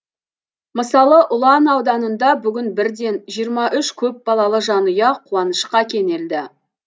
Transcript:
мысалы ұлан ауданында бүгін бірден жиырма үш көпбалалы жанұя қуанышқа кенелді